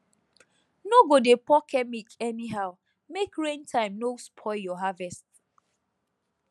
no go dey pour chemic anyhow make rain time no spoil your harvest